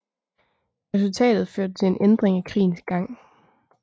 Resultatet førte til en ændring af krigens gang